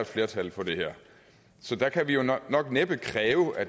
et flertal for det her så der kan vi jo nok næppe kræve at